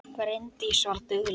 Bryndís var dugleg.